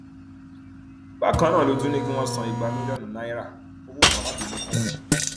bákan náà ló tún ní kí wọn san igba mílíọnù náírà owó gbà má bínú fún òun